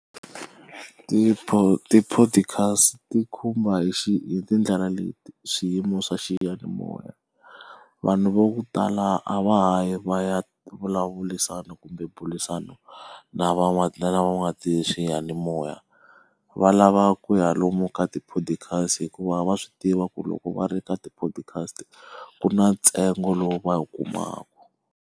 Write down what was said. Ti-podcast ti khumba hi hi tindlela leti swiyimo swa xiyanimoya. Vanhu va ku tala a va ha yi va ya vulavurisana kumbe burisana na na van'watiswiyanimoya. Va lava ku ya lomu ka ti-podcast hikuva va swi tiva ku loko va ri ka ti-podcast ku na ntsengo lowu va wu kumaka.